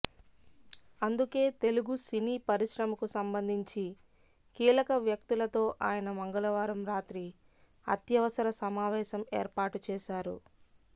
అందుకే తెలుగు సినీ పరిశ్రమకు సంబంధించి కీలక వ్యక్తులతో ఆయన మంగళవారం రాత్రి అత్యవసర సమావేశం ఏర్పాటు చేశారు